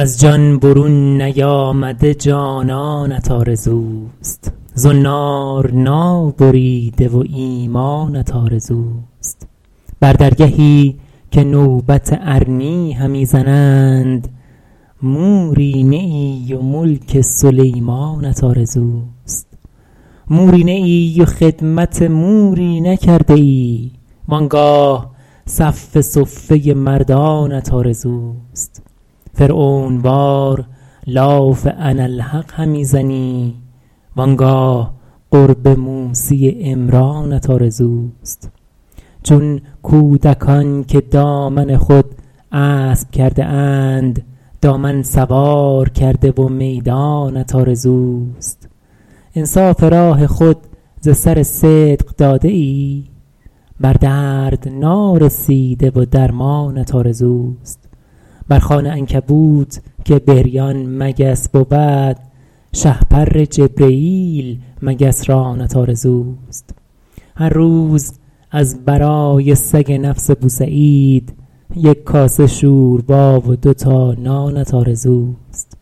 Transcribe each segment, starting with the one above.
از جان برون نیامده جانانت آرزوست زنار نابریده و ایمانت آرزوست بر درگهی که نوبت ارنی همی زنند موری نه ای و ملک سلیمانت آرزوست موری نه ای و خدمت موری نکرده ای وآنگاه صف صفه مردانت آرزوست فرعون وار لاف اناالحق همی زنی وآنگاه قرب موسی عمرانت آرزوست چون کودکان که دامن خود اسب کرده اند دامن سوار کرده و میدانت آرزوست انصاف راه خود ز سر صدق داده ای بر درد نارسیده و درمانت آرزوست بر خوان عنکبوت که بریان مگس بود شهپر جبرییل مگس رانت آرزوست هر روز از برای سگ نفس بوسعید یک کاسه شوربا و دو تا نانت آرزوست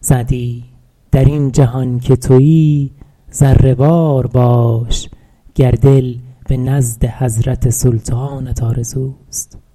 سعدی در این جهان که تویی ذره وار باش گر دل به نزد حضرت سلطانت آرزوست